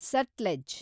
Sutlej